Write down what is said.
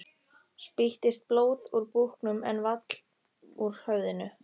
Spýttist blóð úr búknum en vall úr höfðinu.